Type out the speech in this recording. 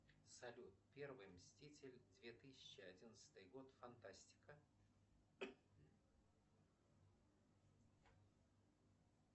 салют первый мститель две тысячи одиннадцатый год фантастика